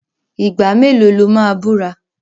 Ìgbà mélòó lo máa búra?